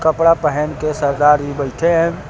कपड़ा पहेन के सरदार जी बैठे हैं।